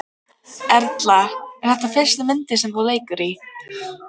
Erla: Er þetta fyrsta myndin sem þú leikur í?